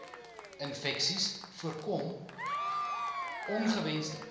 infeksies voorkom ongewensde